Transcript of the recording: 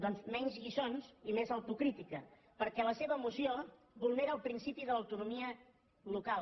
doncs menys lliçons i més autocrítica perquè la seva moció vulnera el principi d’autonomia local